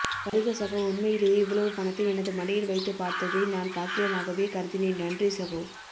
வருக சகோ உண்மையிலேயே இவ்வளவு பணத்தை எனது மடியில் வைத்துப்பார்த்ததை நான் பாக்கியமாகவே கருதினேன் நன்றி சகோ